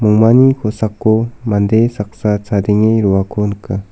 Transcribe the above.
mongmani kosako mande saksa chadenge roako nika.